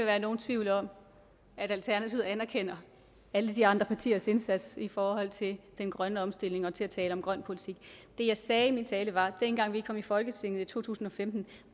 være nogen tvivl om at alternativet anerkender alle de andre partiers indsats i forhold til den grønne omstilling og til at tale om en grøn politik det jeg sagde i min tale var at dengang vi kom i folketinget i to tusind og femten